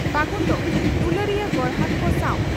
ᱯᱷᱟᱹᱜᱩᱱ ᱫᱚ ᱫᱩᱞᱟᱹᱲᱤᱭᱟᱹ ᱜᱚᱨᱦᱟᱠ ᱠᱚ ᱥᱟᱣ